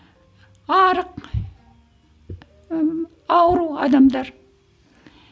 арық ыыы ауру адамдар